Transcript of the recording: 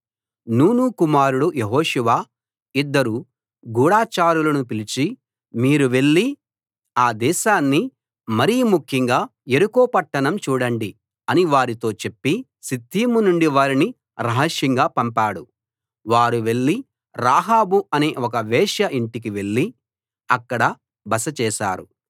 నూను కుమారుడు యెహోషువ ఇద్దరు గూఢచారులను పిలిచి మీరు వెళ్ళి ఆ దేశాన్ని మరి ముఖ్యంగా యెరికో పట్టణం చూడండి అని వారితో చెప్పి షిత్తీము నుండి వారిని రహస్యంగా పంపాడు వారు వెళ్లి రాహాబు అనే ఒక వేశ్య ఇంటికి వెళ్ళి అక్కడ బస చేశారు